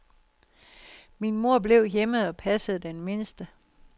Min mor blev hjemme og passede den mindste.